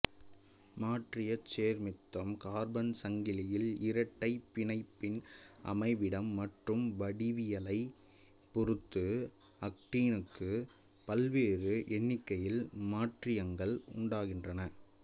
மாற்றியச் சேர்மத்திம் கார்பன் சங்கிலியில் இரட்டைப் பிணைப்பின் அமைவிடம் மற்றும் வடிவியலைப் பொருத்து ஆக்டீனுக்கு பல்வேறு எண்னிக்கையில் மாற்றியங்கள் உண்டாகின்றன